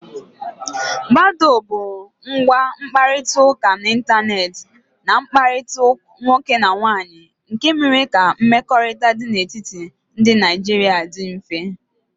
Badó bụ ngwa ịkparịta ụka n'Ịntanet na mkpakọrịta nwoke na nwaanyị nke mere ka mmekọrịta dị n'etiti ndị Naijiria dị mfe.